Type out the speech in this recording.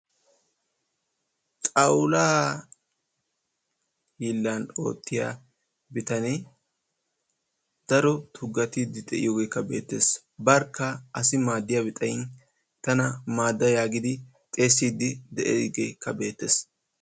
Xawulaa hiilaa oottiya bitanee daro tugatiidi de'iyoogeekka beettees. barkka asi maadiyabi xayin tana maada yaagidi xeesiidi de'iyaageekka beetees.